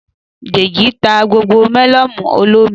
Dèjì ta gbogbo melonu olómi